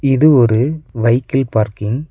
இது ஒரு வைக்கில் பார்க்கிங் .